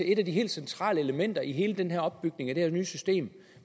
et af de helt centrale elementer i hele den opbygning af det her nye system